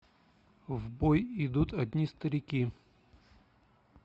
в бой идут одни старики